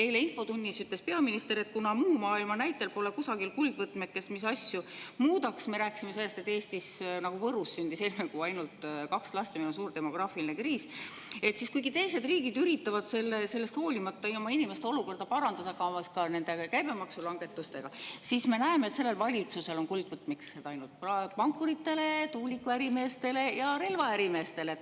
Eile infotunnis ütles peaminister, et kuna muu maailma näitel pole kusagil kuldvõtmekest, mis asju muudaks – me rääkisime sellest, et Eestis nagu Võrus sündis seitsme kuu jooksul ainult kaks last ja meil on suur demograafiline kriis –, siis kuigi teised riigid üritavad sellest hoolimata oma inimeste olukorda parandada, ka nende käibemaksule muudatustega, siis me näeme, et sellel valitsusel on kuldvõtmekesed ainult pankuritele, tuulikuärimeestele ja relvaärimeestele.